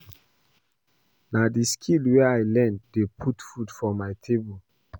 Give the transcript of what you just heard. Na the skills wey I learn dey put food for my table